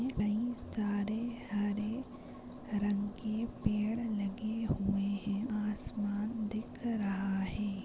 कई सारे हरे रंग के पेड़ लगे हुए है आसमान दिख रहा है।